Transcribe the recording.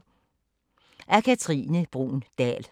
Af Katrine Bruun Dahl